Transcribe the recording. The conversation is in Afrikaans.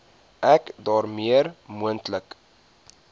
ek daarmee moontlike